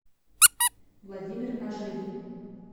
владимир ожегин